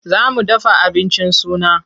Za mu dafa abincin suna.